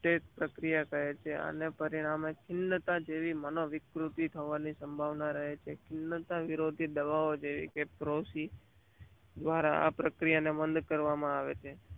પ્રકિયા કહે છે પરિણામ ચિલ્લાતા જેવી મનોવિકૃત થવાની સંભાવના રહે છે. ચિલત વિરોડી દવાઓ જેવી પોષી આ પ્રકિયા ને બાણ કરવામાં આવે છે.